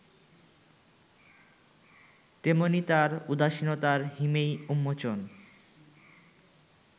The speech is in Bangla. তেমনি তার উদাসীনতার হিমেই উন্মোচন